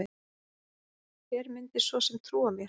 Hver myndi svo sem trúa mér?